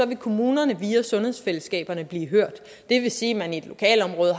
vil kommunerne via sundhedsfællesskaberne blive hørt det vil sige at man i et lokalområde